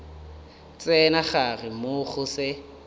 tsena gare moo go se